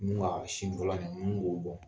Ni ga sin fɔlɔ nin ni ko bɔn.